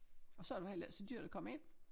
Og så var det heller ikke så dyrt at komme ind